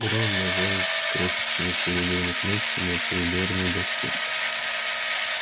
и рон нажал крошечную серебряную кнопку на приборной доске